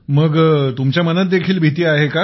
मग तुमच्या मनात देखील भीती आहे का